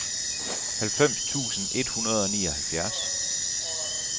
halvfems tusind et hundrede og nioghalvfjerds